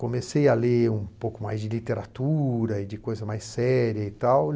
Comecei a ler um pouco mais de literatura e de coisas mais sérias e tal.